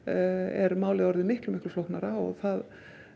er málið miklu miklu flóknara og það